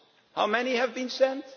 How many have been